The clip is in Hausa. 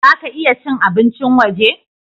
Za ka iya cin abincin waje?